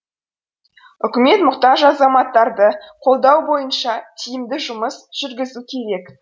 үкімет мұқтаж азаматтарды қолдау бойынша тиімді жұмыс жүргізу керек